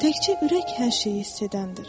Təkcə ürək hər şeyi hiss edəndir.